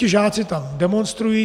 Ti žáci tam demonstrují.